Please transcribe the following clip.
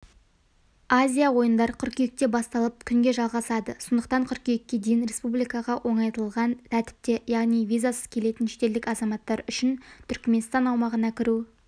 азия ойындар қыркүйекте басталып күнге жалғасалы сондықтан қыркүйекке дейін республикаға оңайлатылған тәртіпте яғни визасыз келетін шетелдік азаматтар үшін түрікменстан аумағына кіру